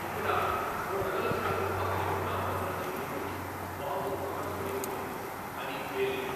ఇక్కడ, ఓ నగల దుకాణం పక్కనే ఉన్న మోటార్సైకిల్కు బాంబు అమర్చిబడి ఉంది, అది పేలింది.